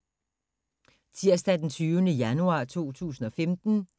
Tirsdag d. 20. januar 2015